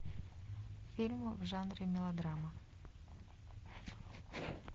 фильмы в жанре мелодрама